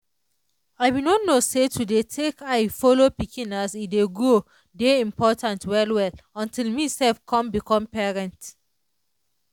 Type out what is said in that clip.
i be no know say to dey take eye follow pikin as e dey grow dey important well well until me self come become parent.